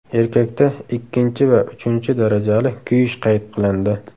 Erkakda ikkinchi va uchinchi darajali kuyish qayd qilindi.